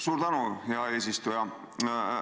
Suur tänu, hea eesistuja!